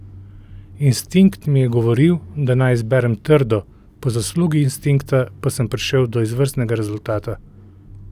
Instinkt mi je govoril, da naj izberem trdo, po zaslugi instinkta pa sem prišel do izvrstnega rezultata.